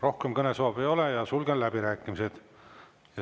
Rohkem kõnesoove ei ole, sulgen läbirääkimised.